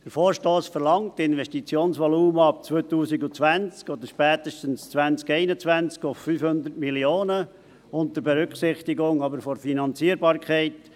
Der Vorstoss verlangt, das Investitionsvolumen ab 2020 oder spätestens ab 2021 auf 500 Mio. Franken anzuheben, jedoch unter Berücksichtigung der Finanzierbarkeit.